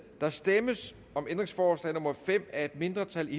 der stemmes om ændringsforslag nummer fem af et mindretal